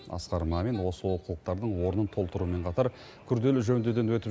асқар мамин осы олқылықтардың орнын толтырумен қатар күрделі жөндеуден өтіп